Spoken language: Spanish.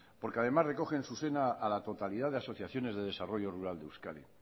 porque además recogen en su seno a la totalidad de asociaciones de desarrollo rural de euskadi